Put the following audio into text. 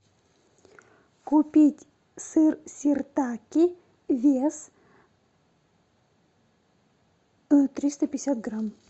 купить сыр сиртаки вес триста пятьдесят грамм